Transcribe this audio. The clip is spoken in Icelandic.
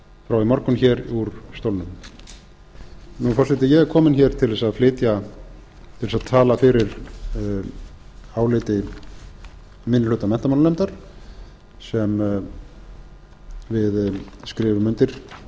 frá í morgun hér úr stólnum forseti ég er komin hér til þess að flytja til þess að tala fyrir áliti minni hluta menntamálanefndar sem við skrifum undir